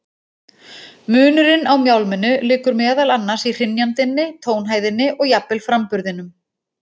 Munurinn á mjálminu liggur meðal annars í hrynjandinni, tónhæðinni og jafnvel framburðinum.